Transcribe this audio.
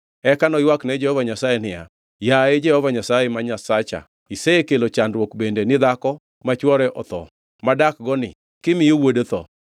Eka noywak ne Jehova Nyasaye niya, “Yaye Jehova Nyasaye ma Nyasacha isekelo chandruok bende ni dhako ma chwore otho madakgo ni kimiyo wuode tho?”